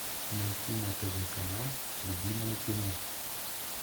найти на тв канал любимое кино